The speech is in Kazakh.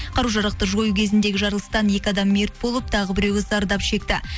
қару жарақты жою кезіндегі жарылыстан екі адам мерт болып тағы біреуі зардап шекті